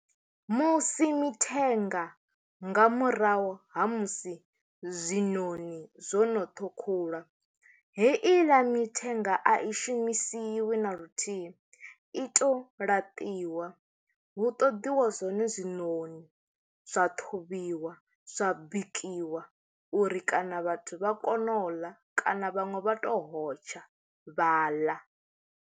Musi mithenga nga murahu ha musi zwinoni zwono ṱhukhulwa, heiḽa mithenga a i shumisiwi na luthihi i to ri laṱiwa hu ṱoḓiwe zwone zwinoni zwa ṱhuvhiwa zwa bikiwa uri kana vhathu vha kone u ḽa kana vhaṅwe vha to hotsha vha ḽa.